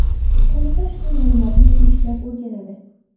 Qo‘mita ushbu ma’lumotni sinchiklab o‘rganadi.